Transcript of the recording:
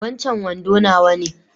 Wancan wando nawa ne